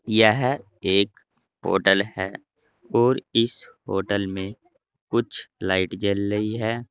यह एक होटल है और इस होटल में कुछ लाइट जल रही है।